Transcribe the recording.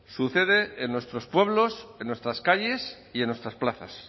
sucede en nuestros pueblos en nuestras calles y en nuestras plazas